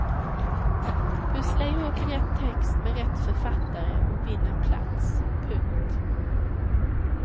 Pussla ihop rätt text med rätt författare och vinn en plats. punkt